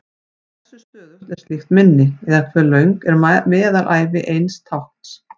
Hversu stöðugt er slíkt minni, eða hve löng er meðalævi eins tákns?